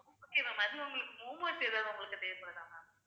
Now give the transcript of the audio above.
okay ma'am அதுல உங்களுக்கு momos ஏதாவது உங்களுக்கு தேவைப்படுதா ma'am